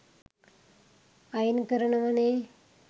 අයින් කරනවනෙ.